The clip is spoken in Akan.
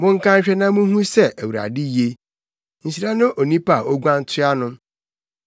Monka nhwɛ na munhu sɛ Awurade ye. Nhyira ne onipa a oguan toa no.